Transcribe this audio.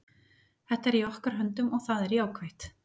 Þetta er í okkar höndum og það er jákvætt.